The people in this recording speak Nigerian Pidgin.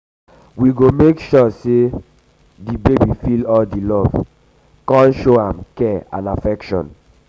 we go um make sure di um baby feel all di love show am care and affection.